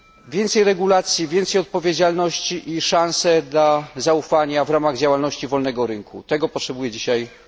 Więcej regulacji, więcej odpowiedzialności i szans dla zaufania w ramach działalności wolnego rynku tego potrzebuje dzisiaj Europa.